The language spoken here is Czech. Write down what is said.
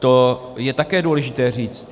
To je také důležité říct.